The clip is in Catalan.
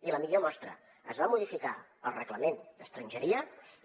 i la millor mostra es va modificar el reglament d’estrangeria